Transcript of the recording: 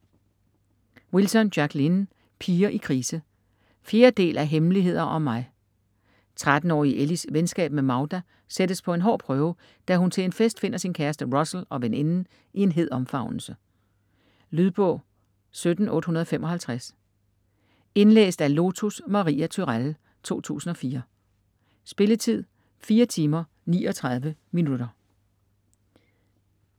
Wilson, Jacqueline: Piger i krise 4. del af Hemmeligheder om mig. 13-årige Ellies venskab med Magda sættes på en hård prøve, da hun til en fest finder sin kæreste Russell og veninden i en hed omfavnelse. Lydbog 17855 Indlæst af Lotus Maria Turèll, 2004. Spilletid: 4 timer, 39 minutter.